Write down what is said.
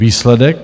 Výsledek?